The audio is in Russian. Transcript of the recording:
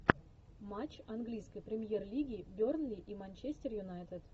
матч английской премьер лиги бернли и манчестер юнайтед